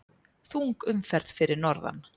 Þung umferð fyrir norðan